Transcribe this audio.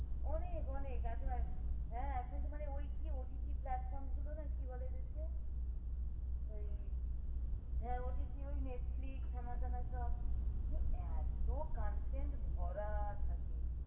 অনেক অনেক এখন এক এখন তো মানে ওই কি OTT platform গুলো না কি বলে ওদের কে ওই OTT ওই Netflix হেন তেন সব কি এতো contend ভরা থাকে